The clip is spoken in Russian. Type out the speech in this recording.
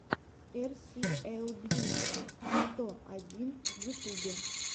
эр си эл бьюти сто один в ютубе